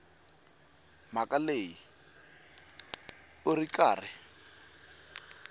mhaka leyi u ri karhi